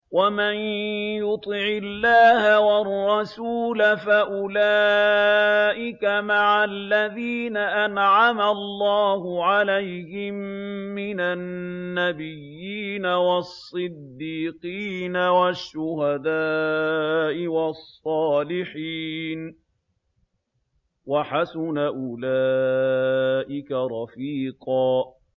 وَمَن يُطِعِ اللَّهَ وَالرَّسُولَ فَأُولَٰئِكَ مَعَ الَّذِينَ أَنْعَمَ اللَّهُ عَلَيْهِم مِّنَ النَّبِيِّينَ وَالصِّدِّيقِينَ وَالشُّهَدَاءِ وَالصَّالِحِينَ ۚ وَحَسُنَ أُولَٰئِكَ رَفِيقًا